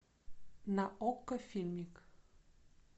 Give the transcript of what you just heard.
на окко фильмик